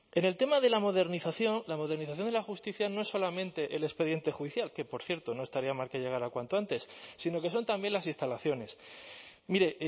en el tema de la modernización la modernización de la justicia no es solamente el expediente judicial que por cierto no estaría mal que llegara cuanto antes sino que son también las instalaciones mire